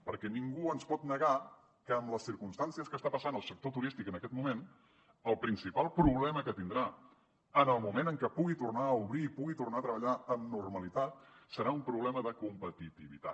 perquè ningú ens pot negar que en les circumstàncies que està passant el sector turístic en aquest moment el principal problema que tindrà en el moment en què pugui tornar a obrir i pugui tornar a treballar amb normalitat serà un problema de competitivitat